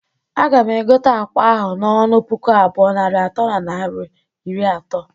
Aga m egote akwa ahụ n'ọnụ puku abụọ, narị atọ na naira iri ato.